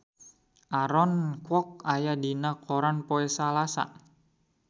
Aaron Kwok aya dina koran poe Salasa